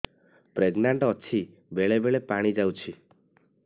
pregnant ଅଛି ବେଳେ ବେଳେ ପାଣି ଯାଉଛି